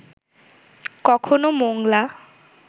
কখনও মোংলা